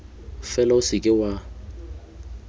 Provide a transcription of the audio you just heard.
fela o se ka wa